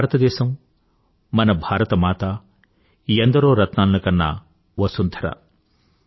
మన భారతదేశం మన భారత మాత ఎందరో రత్నాలను కన్న వసుంధర